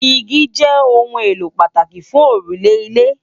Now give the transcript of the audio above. Igi jè óùn éló pàtáki fùn órúlè ilé